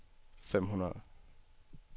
fem hundrede